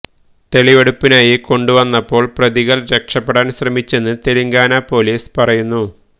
തെളിവെടുപ്പിനായി കൊണ്ടുവന്നപ്പോള് പ്രതികള് രക്ഷപ്പെടാന് ശ്രമിച്ചെന്ന് തെലങ്കാന പൊലീസ് പറയുന്നു